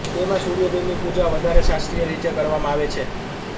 તેમાં સૂર્યદેવની પૂજા વધારે શાસ્ત્રીય રીતે કરવામાં આવે છે